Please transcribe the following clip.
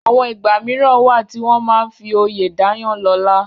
àwọn ìgbà mìíràn wà tí wọ́n máa n fi oyè dáyàn lọ́lá